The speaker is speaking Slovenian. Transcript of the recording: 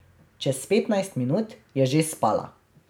Čez petnajst minut je že spala.